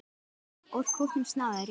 Úr kútnum snáðinn réttir.